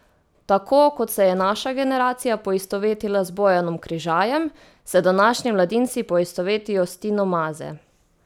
Tako kot se je naša generacija poistovetila z Bojanom Križajem, se današnji mladinci poistovetijo s Tino Maze.